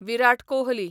Virat Kohli